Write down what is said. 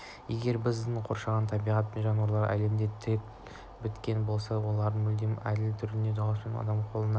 егер бізді қоршаған табиғат пен жануарлар әлеміне тіл біткен болса онда олар мүлдем әділ түрде дауыспен адамның қолына